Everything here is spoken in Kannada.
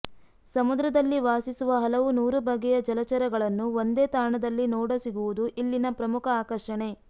ಸಮುದ್ರದಲ್ಲಿ ವಾಸಿಸುವ ಹಲವು ನೂರು ಬಗೆಯ ಜಲಚರಗಳನ್ನು ಒಂದೇ ತಾಣದಲ್ಲಿ ನೋಡ ಸಿಗುವುದು ಇಲ್ಲಿನ ಪ್ರಮುಖ ಆಕರ್ಷಣೆ